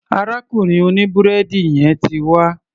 Arákùnrin òní búrẹ́dì yẹn ti wá.